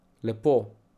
Lepo.